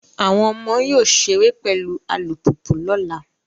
Àwọn ọmọ yóò ṣeré pẹ̀lú alùpùpù lọ́la.